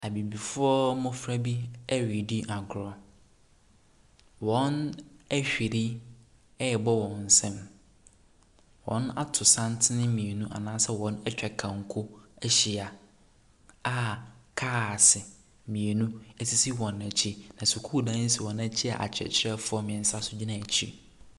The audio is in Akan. Abibifoɔ mmɔfra bi redi agorɔ. Wɔahwiri rebɔ wɔn nsam. Wɔato santene mmienu anaa wɔatwa kanko ahyia a cars mmienu sisi wɔn akyi, na sukuuda si wɔn akyi a akyerɛkyerɛfoɔ mmeɛnsa nso gyina wɔn akyi.